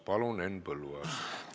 Palun, Henn Põlluaas!